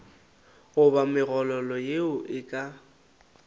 goba megololo yeo e ka